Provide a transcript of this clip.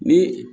Ni